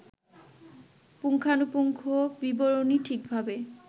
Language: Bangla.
পুঙ্খানুপুঙ্খ বিবরণী ঠিকভাবে